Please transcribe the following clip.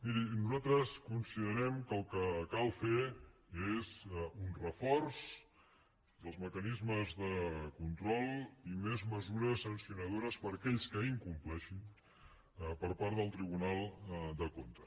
miri nosaltres considerem que el que cal fer és un reforç dels mecanismes de control i més mesures sancionadores per a aquells que incompleixin per part del tribunal de comptes